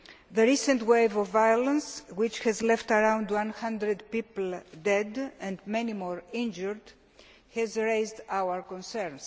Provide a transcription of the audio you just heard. The recent wave of violence, which has left around 100 people dead and many more injured, has increased our concern.